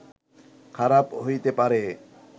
খারাপ হইতে পারে